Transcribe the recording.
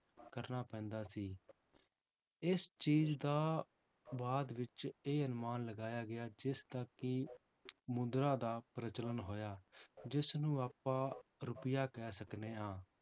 ਕਰਨਾ ਪੈਂਦਾ ਸੀ ਇਸ ਚੀਜ਼ ਦਾ ਬਾਅਦ ਵਿੱਚ ਇਹ ਅਨੁਮਾਨ ਲਗਾਇਆ ਗਿਆ ਜਿਸਦਾ ਕਿ ਮੁੰਦਰਾ ਦਾ ਪ੍ਰਜਲਣ ਹੋਇਆ, ਜਿਸਨੂੰ ਆਪਾਂ ਰੁਪਇਆ ਕਹਿ ਸਕਦੇ ਹਾਂ